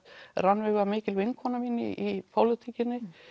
Rannveig var mikil vinkona mín í pólitíkinni